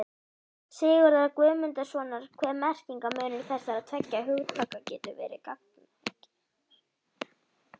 Sigurðar Guðmundssonar hve merkingarmunur þessara tveggja hugtaka getur verið gagnger.